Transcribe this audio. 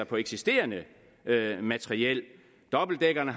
på eksisterende materiel dobbeltdækkerne